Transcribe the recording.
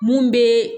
Mun bɛ